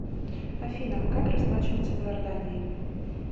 афина как расплачиваться в иордании